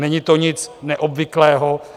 Není to nic neobvyklého.